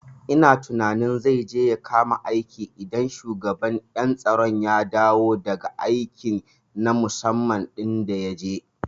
Ina tunanin zai je ya kama aiki idan shugaban ƴan tsaro ya dawo daga aiki na musamman ɗin da yaje